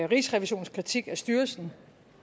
rigsrevisionens kritik af styrelsen